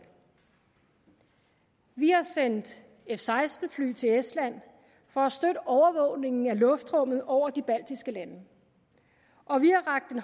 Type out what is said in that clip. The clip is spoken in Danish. vi har sendt f seksten fly til estland for at støtte overvågningen af luftrummet over de baltiske lande og vi